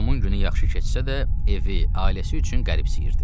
Tomun günü yaxşı keçsə də, evi, ailəsi üçün qəribsiyirdi.